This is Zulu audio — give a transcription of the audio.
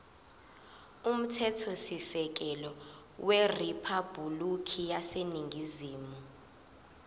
umthethosisekelo weriphabhulikhi yaseningizimu